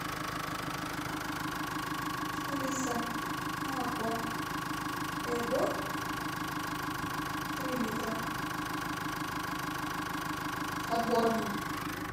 алиса молоко эго три литра отборное